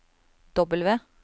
W